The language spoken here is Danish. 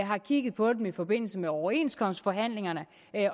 har kigget på dem i forbindelse med overenskomstforhandlingerne